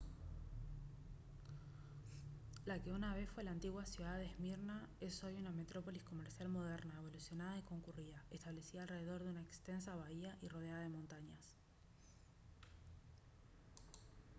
la que una vez fue la antigua ciudad de esmirna es hoy una metrópolis comercial moderna evolucionada y concurrida establecida alrededor de una extensa bahía y rodeada de montañas